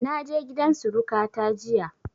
Na je gidan suruƙa ta jiya